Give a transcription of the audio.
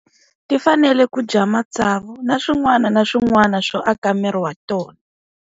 Ti fanele ku dya matsavu na swin'wana na swin'wana swo aka miri wa tona.